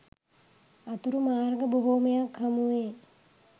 අතුරු මාර්ග බොහොමයක් හමුවේ.